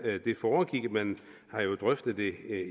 det foregik man har jo drøftet det